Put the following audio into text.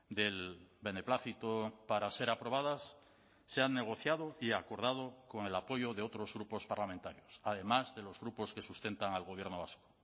del beneplácito para ser aprobadas se han negociado y acordado con el apoyo de otros grupos parlamentarios además de los grupos que sustentan al gobierno vasco